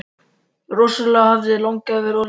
Rosalega hefði langafi verið orðinn gamall!